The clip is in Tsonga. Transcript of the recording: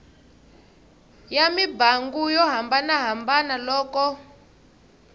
ya mimbangu yo hambanahambana loko